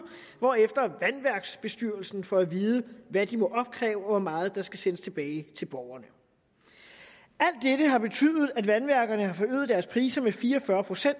hvorefter vandværksbestyrelsen får at vide hvad de må opkræve og hvor meget der skal sendes tilbage til borgerne alt dette har betydet at vandværkerne har forøget deres priser med fire og fyrre